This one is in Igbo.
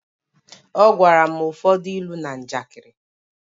Ọ gwara m ụfọdụ ilu na njakịrị